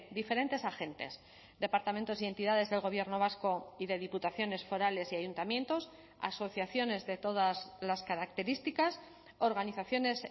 diferentes agentes departamentos y entidades del gobierno vasco y de diputaciones forales y ayuntamientos asociaciones de todas las características organizaciones